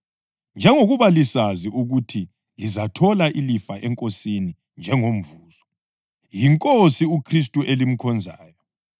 njengoba lisazi ukuthi lizathola ilifa eNkosini njengomvuzo. YiNkosi uKhristu elimkhonzayo.